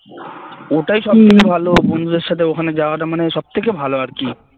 ওটাই সব থেকে ভালো বন্ধুদের সাথে ওখানে যাওয়াটা মানে সব থেকে ভালো আরকি